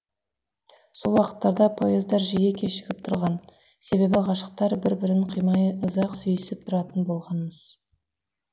сол уақыттарда поездар жиі кешігіп тұрған себебі ғашықтар бір бірін қимай ұзақ сүйісіп тұратын болған мыс